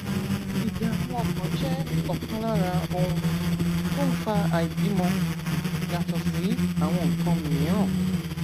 ìdààmú ọkàn jẹ ọkan lára ohun tó ń fa àìbímọ yàtọ sí àwọn nǹkan mìíràn